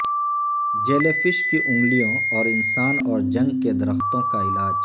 jellyfish کی انگلیوں اور انسان اور جنگ کے درختوں کا علاج